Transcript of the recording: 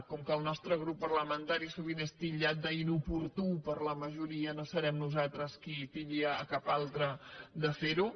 com que el nostre grup parlamentari sovint és titllat d’inoportú per la majoria no serem nosaltres qui titlli cap altre de ser ho